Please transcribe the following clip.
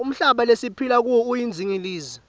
umhlaba lesiphila kuwo uyindingilizi